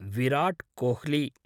Virat Kohli